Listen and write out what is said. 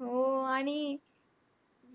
हो, आणि